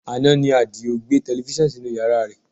Àná ni Adio gbé tẹlifísàn sínú yàrá rẹ̀